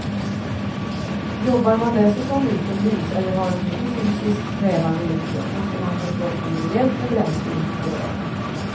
Jobbar man dessutom utomhus eller har ett mycket fysiskt krävande yrke måste man ge kroppen rejält med bränsle mitt på dagen.